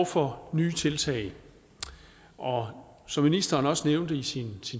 for nye tiltag og som ministeren også nævnte i sin